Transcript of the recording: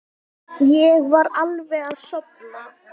Ég var alveg að sofna.